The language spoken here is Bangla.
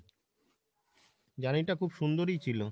journey টা খুব সুন্দরই ছিল।